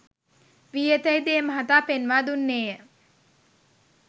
වී ඇතැයි ද ඒ මහතා පෙන්වා දුන්නේය